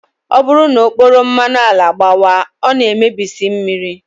Ọ bụrụ na okporo mmanụ ala gbawaa, ọ na-emebisi mmiri